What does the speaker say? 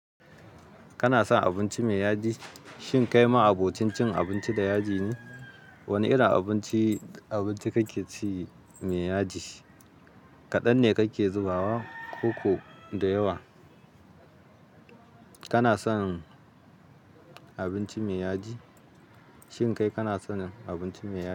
Kana son abinci mai yaji? Shin kai ma abocin cin abinci da yaji ne? Wanne irin abinci, abinci kake ci mai yaji? Kaɗan ne kake zubawa, ko ko da yawa? Kana son abinci mai yaji? Shin kai kana son abinci mai yaji?